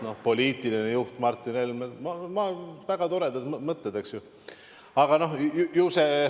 No "poliitiline juht Martin Helme" – väga toredad mõtted, eks ju.